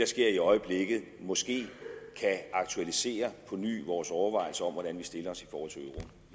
sker i øjeblikket måske kan aktualisere og forny vores overvejelser om hvordan vi stiller til